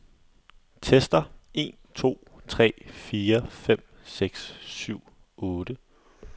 Tester en to tre fire fem seks syv otte.